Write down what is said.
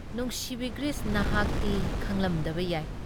ꯅꯨꯡꯁꯤꯕꯤ ꯒ꯭ꯔꯤꯁ ꯅꯍꯥꯛꯇꯤ ꯈꯪꯂꯝꯗꯕ ꯌꯥꯏ ꯫